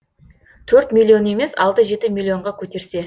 төрт миллион емес алты жеті миллионға көтерсе